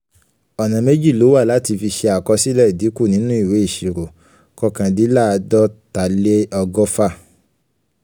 ọ̀nà méjì ló wà láti fi ṣe àkọsílẹ̀ ìdìkú nínú ìwé ìṣirò: kọkàndínláàdọ́taleọgọ́fà.